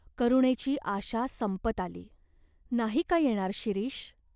करुणेची आशा संपत आली. नाही का येणार शिरीष ?